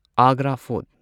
Agra fort